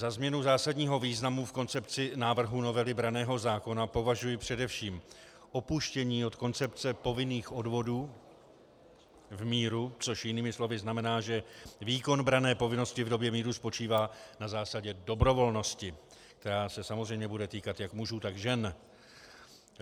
Za změnu zásadního významu v koncepci návrhu novely branného zákona považuji především opuštění od koncepce povinných odvodů v míru, což jinými slovy znamená, že výkon branné povinnosti v době míru spočívá na zásadě dobrovolnosti, která se samozřejmě bude týkat jak mužů, tak žen.